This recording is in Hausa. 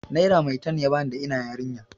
Naira maitan ya bani da ina yarinya.